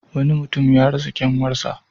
Wani mutum ya rasa kyanwarsa.